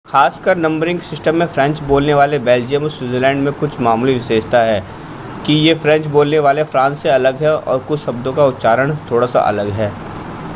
खासकर numbering system में French बोलने वाले बेल्जियम और स्विट्ज़रलैंड में कुछ मामूली विशेषता है कि ये फ़्रेंच बोलने वाले फ़्रांस से अलग हैं और कुछ शब्दों का उच्चारण थोड़ा-सा अलग है